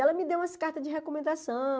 Ela me deu umas cartas de recomendação.